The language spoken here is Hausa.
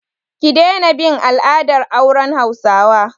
Ki daina bin al'adar auren hausawa!